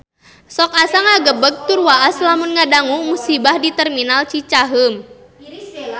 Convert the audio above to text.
Sok asa ngagebeg tur waas lamun ngadangu musibah di Terminal Cicaheum